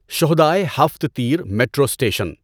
شہدائے ھفت تیر metro station